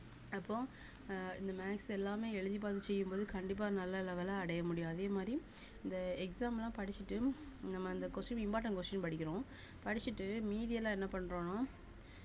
அப்போ அஹ் இந்த maths எல்லாமே எழுதி பாத்து செய்யும்போது கண்டிப்பா நல்ல level அ அடைய முடியும் அதே மாதிரி இந்த exam லாம் படிச்சுட்டு நம்ம இந்த question important question படிக்கிறோம் படிச்சுட்டு மீதி எல்லாம் என்ன பண்றோம்னா